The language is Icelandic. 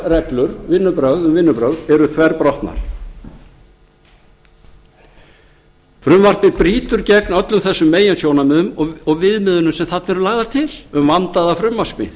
um vinnubrögð eru þverbrotnar frumvarpið brýtur gegn öllum þessum meginsjónarmiðum og viðmiðunum sem þarna eru lagðar til um vandaða frumvarpssmíð